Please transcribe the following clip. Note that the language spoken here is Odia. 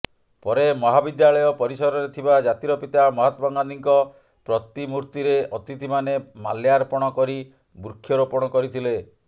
ପରେ ମହାବିଦ୍ୟାଳୟ ପରିସରରେ ଥିବା ଜାତିର ପିତା ମହାତ୍ମା ଗାନ୍ଧୀଙ୍କ ପ୍ରତିମୂର୍ତ୍ତିରେ ଅତିଥିମାନେ ମାଲ୍ୟାର୍ପଣ କରି ବୃକ୍ଷରୋପଣ କରିଥିଲେ